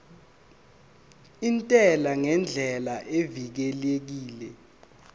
intela ngendlela evikelekile